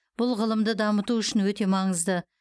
бұл ғылымды дамыту үшін өте маңызды